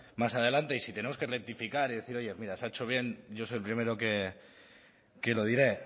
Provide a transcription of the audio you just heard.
más adelante y si tenemos que rectificar y decir oye mira se ha hecho bien yo soy el primero que lo diré